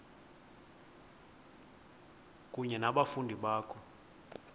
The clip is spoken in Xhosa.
kunye nabafundi bakho